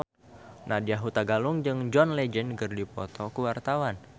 Nadya Hutagalung jeung John Legend keur dipoto ku wartawan